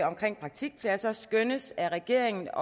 omkring praktikpladser skønnes af regeringen